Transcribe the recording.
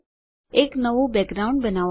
એક નવું બેકગ્રાઉન્ડ બનાવો